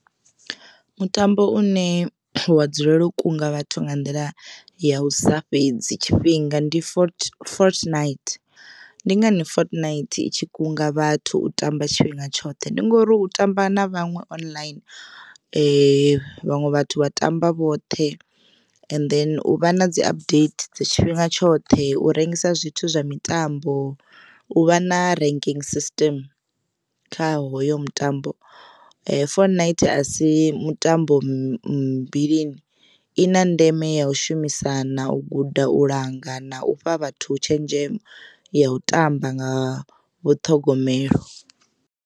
Mutambo une wa dzulela u kunga vhathu nga nḓila ya u sa fhedzi tshifhinga ndi foot fault night ndi ngani fault night itshi kunga vhathu u tamba tshifhinga tshoṱhe ndi ngori u tamba na vhaṅwe online vhaṅwe vhathu vha tamba vhoṱhe and then u vha na dzi update tshifhinga tshoṱhe u rengisa zwithu zwa mitambo u vha na ranking system kha hoyo mutambo fault night asi mutambo mmbi i na ndeme ya u shumisana u guda u langa na u fha vhathu tshenzhemo ya u tamba nga vhu ṱhogomelo.